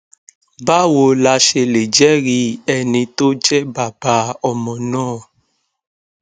báwo la ṣe lè jeri ẹni tó jẹ bàbá ọmọ náà